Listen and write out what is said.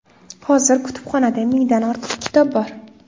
Hozir kutubxonada mingdan ortiq kitob bor.